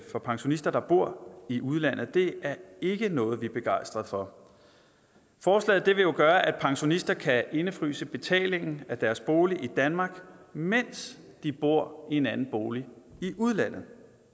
for pensionister der bor i udlandet det er ikke noget vi er begejstret for forslaget vil jo gøre at pensionister kan indefryse betalingen af deres bolig i danmark mens de bor i en anden bolig i udlandet